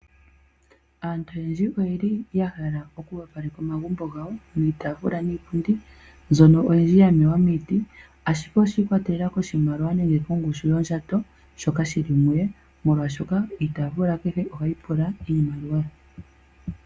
Aantu oyendji oye li yahala oku opaleka omagumbo gawo niitaafula niipundi mbyono oyindji ya longwa miiti ashike oshiikwatelela koshimaliwa nenge kongushu yondjato yoye molwaashoka iitaafula kehe ohayi pula iimaliwa.